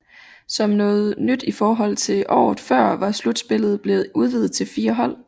Som noget nyt i forhold til året før var slutspillet blevet udvidet til fire hold